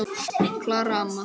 Klara amma.